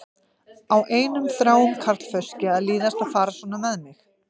Á einum þráum karlfauski að líðast að fara svona með mig?